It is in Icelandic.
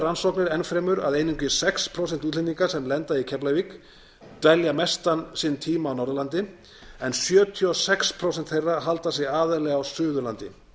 rannsóknir enn fremur að einungis sex prósent útlendinga sem lenda í keflavík dvelja mestan sinn tíma á norðurlandi en sjötíu og sex prósent þeirra halda sig aðallega á suðurlandi